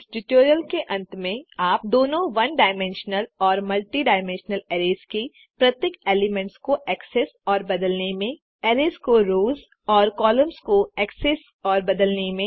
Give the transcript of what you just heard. इस ट्यूटोरियल के अंत में आप दोनों वन डायमेंशनल और मल्टी डायमेंशनल अरैज़ के प्रत्येक एलिमेंट्स को एक्सेस और बदलने में अरैज़ के रोज़ और कॉलम्स को एक्सेस और बदलने में